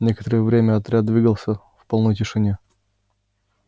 некоторое время отряд двигался в полной тишине